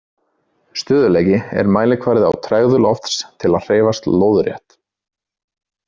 Stöðugleiki er mælkvarði á tregðu lofts til að hreyfast lóðrétt.